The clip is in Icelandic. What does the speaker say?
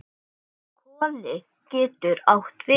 Koli getur átt við